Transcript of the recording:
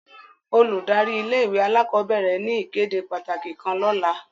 Óludari ìlé-ìwé àlàkọbẹrẹ ni ìkéde pataki kan lọla.